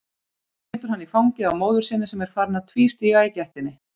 Setur hann í fangið á móður sinni sem er farin að tvístíga í gættinni.